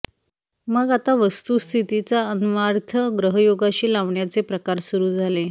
मग आता वस्तुस्थितीचा अन्वयार्थ ग्रहयोगाशी लावण्याचे प्रकार सुरू झाले